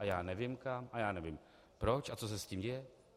A já nevím kam a já nevím proč a co se s tím děje.